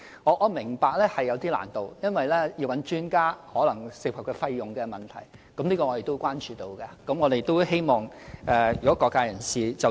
我明白這是有一點難度的，因為諮詢專家可能涉及費用的問題，這亦是我們和各界人士所關注的。